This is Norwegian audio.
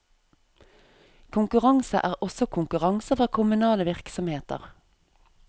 Konkurranse er også konkurranse fra kommunale virksomheter.